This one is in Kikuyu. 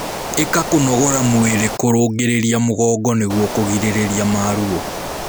Ika kũnogora mwĩrĩ kurungiririrĩa mugongo nĩguo kũgirĩrĩrĩa maruo